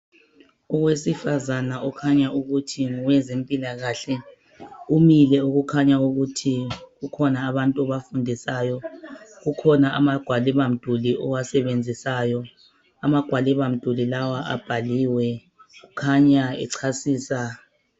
Owesifazana okhanya ukuthi ngowezempilakahle umile okukhanya ukuthi kukhona abantu abafundisayo, kukhona amagwaliba mduli awasebenzisayo. Amagwaliba mduli lawa abhaliwe kukhanya echasisa.